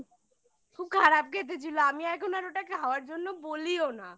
খুব খারাপ খেতে ছিল আমি এখন আর ওটাকে খাওয়ার জন্য বলিও না